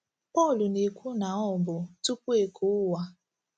Pọl na-ekwu na ọ bụ “ tupu e kee ụwa. ”